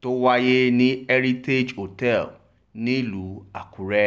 tó wáyé ní heritage hotel nílùú àkúrè